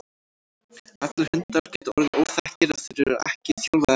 Allir hundar geta orðið óþekkir ef þeir eru ekki þjálfaðir rétt.